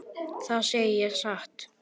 Það segi ég satt.